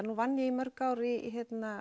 nú vann ég í mörg ár í